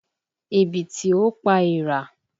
Ẹ̀bìtì ò pa era